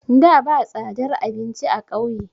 Da ba tsadar abinci a kauye